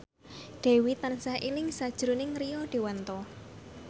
Dewi tansah eling sakjroning Rio Dewanto